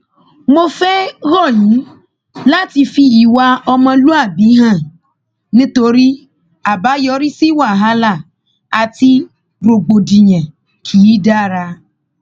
mo fẹẹ rọ yín láti fi ìwà ọmọlúàbí hàn nítorí àbáyọrí sí wàhálà àti rògbòdìyàn kì í dára